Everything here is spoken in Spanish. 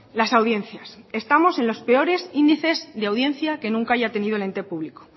las audiencias estamos en los peores índices de audiencia que nunca haya tenido el ente público